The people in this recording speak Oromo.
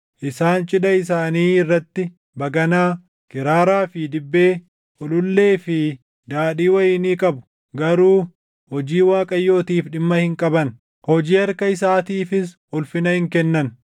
Isaan cidha isaanii irratti baganaa, kiraaraa fi dibbee, ulullee fi daadhii wayinii qabu; garuu hojii Waaqayyootiif dhimma hin qaban; hojii harka isaatiifis ulfina hin kennan.